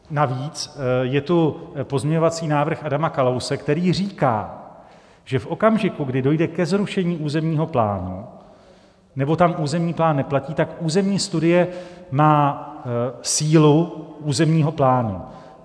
Navíc je tu pozměňovací návrh Adama Kalouse, který říká, že v okamžiku, kdy dojde ke zrušené územního plánu nebo tam územní plán neplatí, tak územní studie má sílu územního plánu.